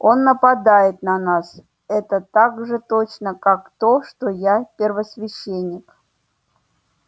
он нападёт на нас это так же точно как то что я первосвященник